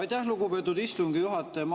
Aitäh, lugupeetud istungi juhataja!